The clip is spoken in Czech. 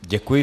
Děkuji.